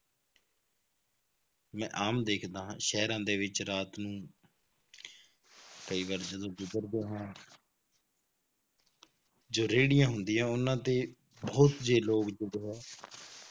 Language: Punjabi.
ਮੈਂ ਆਮ ਦੇਖਦਾ ਹਾਂ ਸ਼ਹਿਰਾਂ ਦੇ ਵਿੱਚ ਰਾਤ ਨੂੰ ਕਈ ਵਾਰ ਜਦੋਂ ਗੁਜ਼ਰਦੇ ਹਾਂ ਜੋ ਰੇੜੀਆਂ ਹੁੰਦੀਆਂ ਉਹਨਾਂ ਤੇ ਬਹੁਤ ਜੇ ਲੋਕ